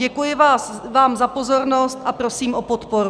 Děkuji vám za pozornost a prosím o podporu.